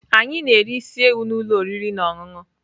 Anyị na-eri isi ewu na ụlọ oriri na ọṅụṅụ.